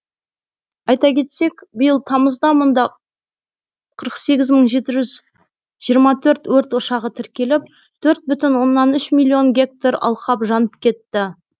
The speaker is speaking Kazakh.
айта кетсек биыл тамызда мұнда қырық сегіз мың жеті жүз жиырма төрт өрт ошағы тіркеліп төрт бүтін оннан үш миллион гектар алқап жанып кетті